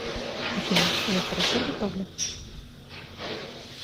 афина я хорошо готовлю